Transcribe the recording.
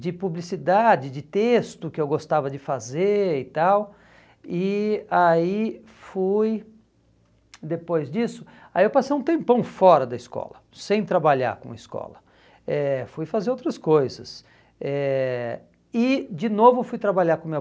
de publicidade de texto que eu gostava de fazer e tal e aí fui depois disso aí eu passei um tempão fora da escola sem trabalhar com escola eh fui fazer outras coisas eh e de novo fui trabalhar com meu